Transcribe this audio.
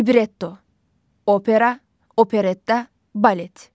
Libretto, opera, operetta, balet.